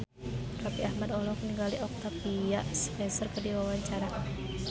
Raffi Ahmad olohok ningali Octavia Spencer keur diwawancara